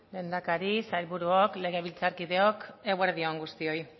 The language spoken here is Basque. lehendakari sailburuok legebiltzarkideok eguerdi on guztioi